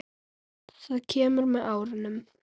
Það kemur með árunum.